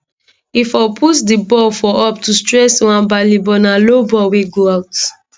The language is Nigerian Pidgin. e for put di ball for up to stress nwabali but na low ball wey go out